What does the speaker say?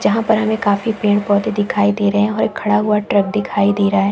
जहाँ पर हमें काफी पेड़-पौधे दिखाई दे रहे हैं और एक खड़ा हुआ ट्रक दिखाई दे रहा है।